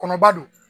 Kɔnɔba don